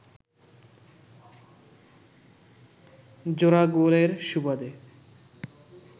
জোড়া গোলের সুবাদে